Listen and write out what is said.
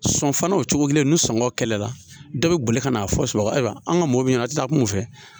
Sɔn fana o cogo kelen ni sɔngɔ kɛlɛ la dɔ bɛ boli ka n'a fɔ sunɔgɔ ayiwa an ka mɔbili ɲɛna a tɛ taa kunfɛ